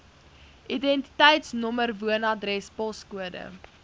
identiteitsnommer woonadres poskode